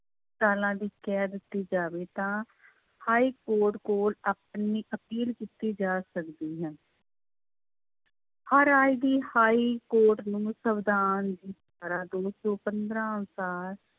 ਸਾਲਾਂ ਦੀ ਕੈਦ ਦਿੱਤੀ ਜਾਵੇ ਤਾਂ ਹਾਈਕੋਰਟ ਕੋਲ ਆਪਣੀ ਅਪੀਲ ਕੀਤੀ ਜਾ ਸਕਦੀ ਹੈ ਹਰ ਰਾਜ ਦੀ ਹਾਈਕੋਰਟ ਨੂੰ ਸਵਿਧਾਨ ਦੀ ਧਾਰਾ ਦੋ ਸੌ ਪੰਦਰਾਂ ਅਨੁਸਾਰ